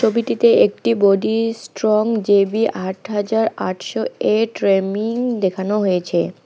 ছবিটিতে একটি body strong J B আট হাজার আটশো এ ট্রেমিং দেখানো হয়েছে।